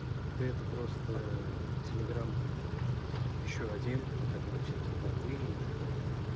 да это просто телеграмм ещё один на котором всякие боты и так далее